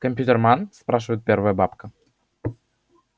компьютерман спрашивает первая бабка